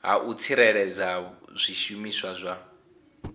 ha u tsireledza zwishumiswa zwa